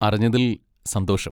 അറിഞ്ഞതിൽ സന്തോഷം.